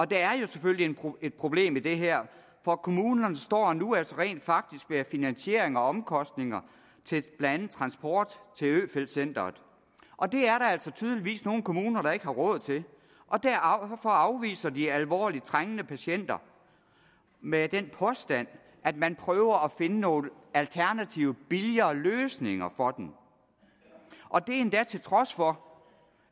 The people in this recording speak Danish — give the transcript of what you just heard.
der er jo selvfølgelig et problem i det her for kommunerne står altså nu rent faktisk med finansieringen af omkostninger til blandt andet transport til øfeldt centret og det er der altså tydeligvis nogle kommuner der ikke har råd til og derfor afviser de alvorligt trængende patienter med den påstand at man prøver at finde nogle alternative billigere løsninger for dem og det er endda til trods for